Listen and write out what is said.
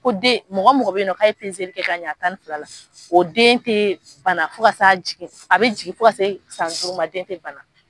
Ko den mɔgɔ mɔgɔ bɛ ye nɔ ka ye ka ɲɛ tan ni fila la, o den tɛ bana fo ka sa jigin a bɛ jigin fo ka se san duuru ma den tɛ banna.